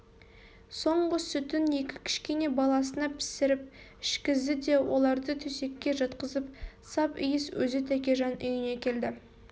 соңғы сүтін екі кішкене баласына пісіріп ішкізді де оларды төсекке жатқызып сап иіс өзі тәкежан үйіне келді